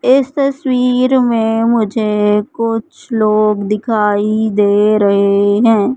इस तस्वीर में मुझे कुछ लोग दिखाई दे रहे हैं।